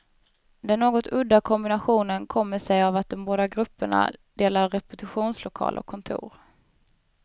Den något udda kombinationen kommer sig av att de båda grupperna delar repetitionslokal och kontor.